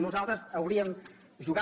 nosaltres hauríem jugat